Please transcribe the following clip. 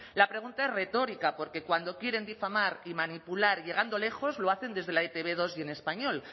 la pregunta es retórica porque cuando quieren difamar y manipular llegando lejos lo hacen desde la e te be dos y en español